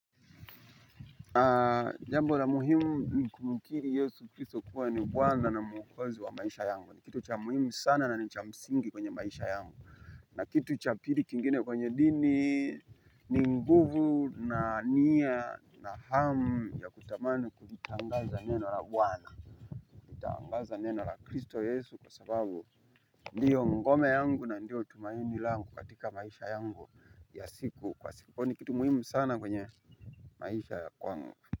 Aah jambo la muhimu ni kumukiri yesu kristo kuwa ni bwana na muokozi wa maisha yangu. Ni kitu cha muhimu sana na ni cha msingi kwenye maisha yangu. Na kitu cha pili kingine kwenye dini ni nguvu na nia na hamu ya kutamani kulitangaza neno la wana. Kulitangaza neno la kristo yesu kwa sababu ndiyo ngome yangu na ndiyo tumaini langu katika maisha yangu ya siku kwa siku. Hua ni kitu muhimu sana kwenye maisha ya kwangu.